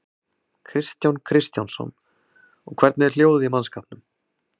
Kristján Kristjánsson: Og hvernig er hljóðið í mannskapnum?